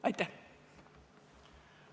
Aitäh!